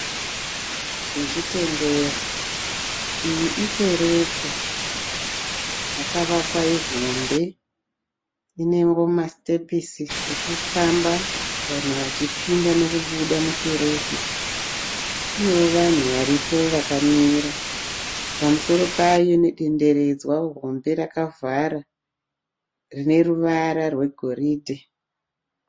Zvechitendero. Iyi ikekereke, yakavakwa hombe Inewoma sitepusi ekufamba vanhu vachipinda nekubuda mukereke. Penewo vanhu varipo vakamira. Pamusoro payo nederedza hombe rakavhara, rineruvara rwegiridhe.